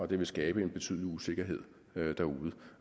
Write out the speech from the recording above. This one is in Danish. det vil skabe en betydelig usikkerhed derude